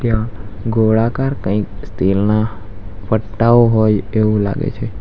ગોળાકાર કંઈક તેલના પટ્ટાઓ હોય એવું લાગે છે.